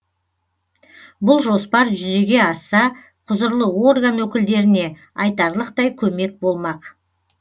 бұл жоспар жүзеге асса құзырлы орган өкілдеріне айтарлықтай көмек болмақ